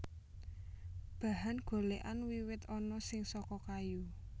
Bahan golèkan wiwit ana sing saka kayu